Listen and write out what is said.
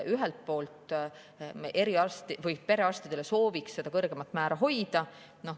Ühelt poolt sooviks seda perearstide kõrgemat määra hoida.